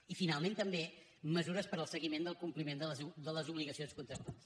i finalment també mesures per al seguiment del compliment de les obligacions contractuals